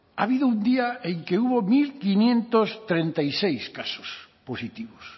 ha habido un día en que hubo mil quinientos treinta y seis casos positivos